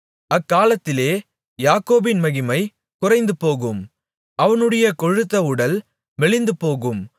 அக்காலத்திலே யாக்கோபின் மகிமை குறைந்துபோகும் அவனுடைய கொழுத்த உடல் மெலிந்துபோகும்